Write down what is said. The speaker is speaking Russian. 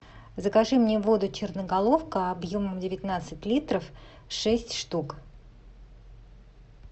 закажи мне воду черноголовка объемом девятнадцать литров шесть штук